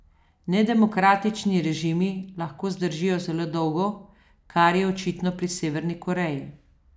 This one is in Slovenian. Nedemokratični režimi lahko zdržijo zelo dolgo, kar je očitno pri Severni Koreji.